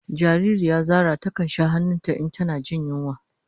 Jariri ya Zara ta kan sha han'nun ta in tana jin yunwa.